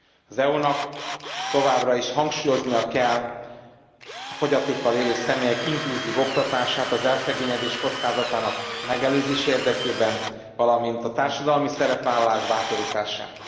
Az EU nak továbbra is hangsúlyoznia kell a fogyatékkal élő személyek inkluzív oktatását az elszegényedés kockázatának megelőzése érdekében, valamint a társadalmi szerepvállalás bátorítását.